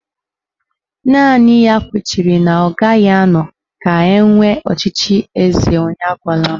Naanị ya kwechiri na ọ gaghị anọ ka enwee ọchịchị eze onye agwala m